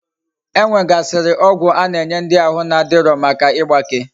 E nwegasiri ogwu ana enye ndi ahu na adiro Maka igbake